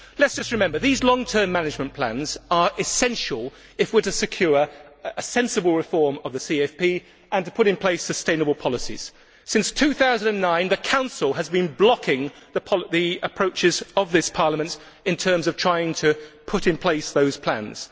Let us just remember these long term management plans are essential if we are to secure a sensible reform of the CFP and to put in place sustainable policies. Since 2009, the Council has been blocking the approaches of this Parliament in terms of trying to put in place those plans.